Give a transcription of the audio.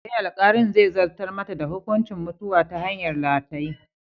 Eh, alkalin zai zartar mata da hukuncin mutuwa ta hanyar rataye.